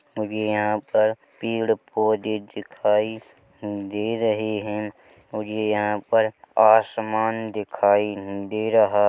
और यहाँ पर पीड़ पौधे दिखाई दे रहे है और ये यहाँ पर आसमान दिखाई दे रहा--